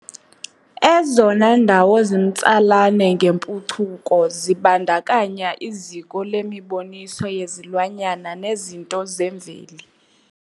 Ezona ndawo zimtsalane ngempucuko zibandakanya i ziko lemiboniso yezilwanyana nezinto zemveli